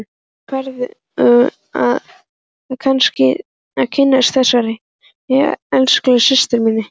Nú færðu að kynnast þessari elskulegu systur minni!